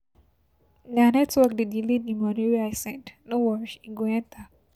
Na network dey delay di moni wey I send, no worry e go enta.